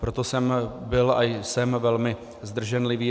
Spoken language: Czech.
Proto jsem byl a jsem velmi zdrženlivý.